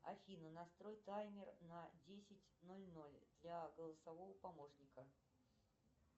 афина настрой таймер на десять ноль ноль для голосового помощника